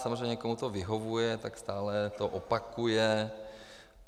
Samozřejmě komu to vyhovuje, tak to stále opakuje.